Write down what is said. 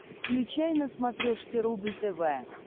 включай на смотрешке рубль тв